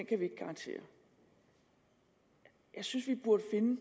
kan vi ikke garantere jeg synes vi burde finde